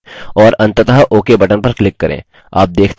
और अंततः ok button पर click करें